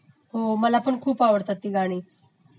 हो मलापण खूप आवडतात ती गाणी